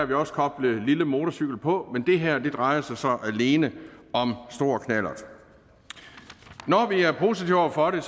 vi også koblede lille motorcykel på men det her drejer sig så alene om stor knallert når vi er positive over for det